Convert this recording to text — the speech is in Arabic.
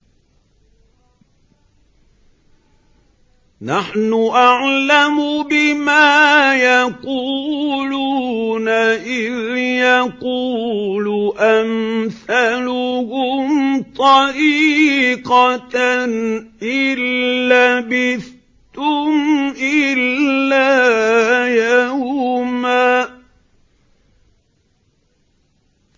نَّحْنُ أَعْلَمُ بِمَا يَقُولُونَ إِذْ يَقُولُ أَمْثَلُهُمْ طَرِيقَةً إِن لَّبِثْتُمْ إِلَّا يَوْمًا